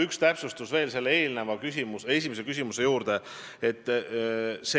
Üks täpsustus veel esimesele küsimusele vastuseks.